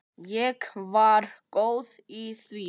Ég var góð í því.